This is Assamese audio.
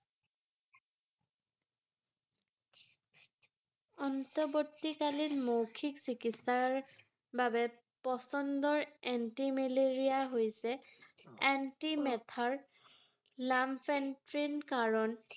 অন্তৱৰ্তীকালীন মৌখিক চিকিৎসাৰ বাবে প্ৰচণ্ডৰ antimalarial হৈছে